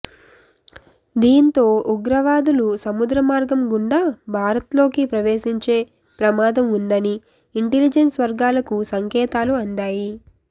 దీంతో ఉగ్రవాదులు సముద్రమార్గం గుండా భారత్లోకి ప్రవేశించే ప్రమాదం ఉందని ఇంటెలిజెన్స్ వర్గాలకు సంకేతాలు అందాయి